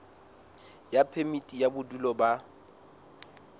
ya phemiti ya bodulo ba